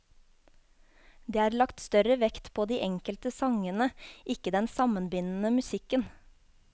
Det er lagt større vekt på de enkelte sangene, ikke den sammenbindende musikken.